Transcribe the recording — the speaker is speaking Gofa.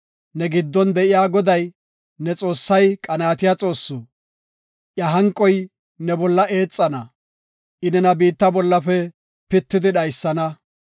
Ne giddon de7iya Goday, ne Xoossay qanaatiya Xoossu. Iya hanqoy ne bolla eexana; I nena biitta bollafe pitidi dhaysana.